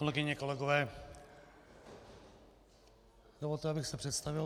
Kolegyně, kolegové, dovolte, abych se představil.